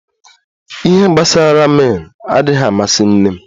ihe gbasara ramin adighi amasi nne m